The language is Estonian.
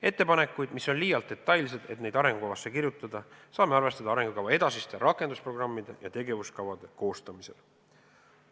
Ettepanekuid, mis on liialt detailsed, et neid arengukavasse kirjutada, saame arvestada arengukava edasiste rakendusprogrammide ja tegevuskavade koostamisel.